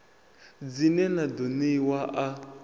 dzine na ḓo ṋeiwa a